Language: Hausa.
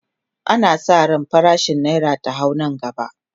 ana San ran farashin naira ta hau Nan gaba